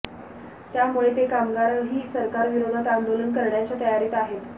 त्यामुळे ते कामगारही सरकार विरोधात आंदोलन करण्याच्या तयारीत आहेत